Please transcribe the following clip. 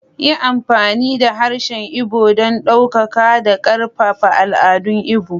Yi amfani da harshen Igbo don ɗaukaka da ƙarfafa al'adun Igbo.